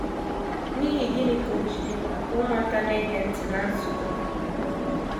N’ihi gịnị ka o ji dị mkpa ka ụmụaka na - ege ntị ná nzukọ?